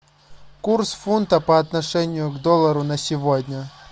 курс фунта по отношению к доллару на сегодня